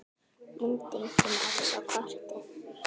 Myndin kom Rex á kortið.